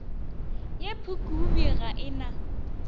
ye phukubje ga e na